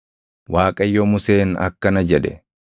Waaqayyo Museen akkana jedhe;